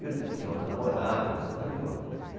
tinha outra namorada e tal, estava em outra.